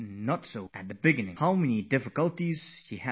She had to face many difficulties, many problems